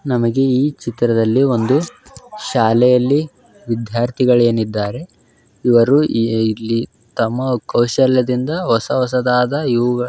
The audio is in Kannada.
ನಮಗೆ ಈ ಚಿತ್ರದಲ್ಲಿ ಒಂದು ಶಾಲೆಯಲ್ಲಿ ವಿದ್ಯಾರ್ಥಿಗಳಿನೇದ್ದಾರೆ ಇವರು ಇಲ್ಲಿ ತಮ್ಮ ಕೌಶಲ್ಯದಿಂದ ಹೊಸ ಹೊಸದಾದ ಇವುಗಳನ್ನು --